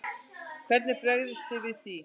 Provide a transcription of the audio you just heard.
Hvernig bregðist þið við því?